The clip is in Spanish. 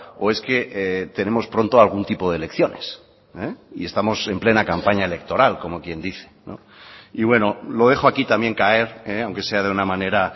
o es que tenemos pronto algún tipo de elecciones y estamos en plena campaña electoral como quien dice y bueno lo dejo aquí también caer aunque sea de una manera